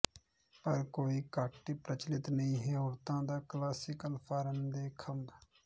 ਪਰ ਕੋਈ ਘੱਟ ਪ੍ਰਚਲਿਤ ਨਹੀਂ ਹੈ ਔਰਤਾਂ ਦੇ ਕਲਾਸੀਕਲ ਫਾਰਮ ਦੇ ਖੰਭ